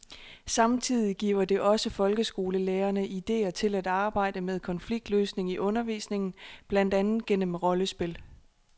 Samtidig giver det også folkeskolelærerne idéer til at arbejde med konfliktløsning i undervisningen, blandt andet gennem rollespil.